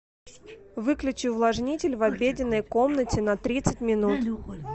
выключи увлажнитель в обеденной комнате на тридцать минут